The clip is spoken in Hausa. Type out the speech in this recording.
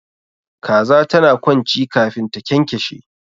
Kaza tana kwanci kafin ta kyankyashe